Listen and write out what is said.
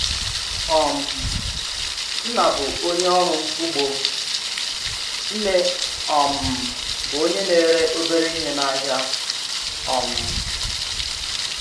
um Nna bụ onye ọrụ ugbo, nne um bụ onye na-ere obere ihe n’ahịa. um